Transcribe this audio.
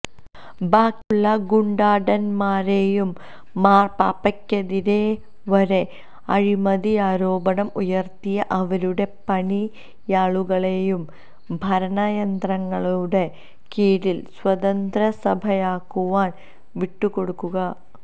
ബാക്കിയുള്ള ഗുണ്ടാടൻമാരെയും മാർപാപ്പയ്ക്കെതിരെവരെ അഴിമതിയാരോപണം ഉയർത്തിയ അവരുടെ പിണിയാളുകളെയും ഭരണിയന്ത്രങ്ങളുടെ കീഴിൽ സ്വതന്ത്ര സഭയാകുവാൻ വിട്ടുകൊടുക്കുക